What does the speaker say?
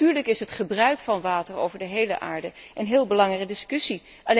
Maar natuurlijk is het gebruik van water over de hele aarde een heel belangrijke discussie.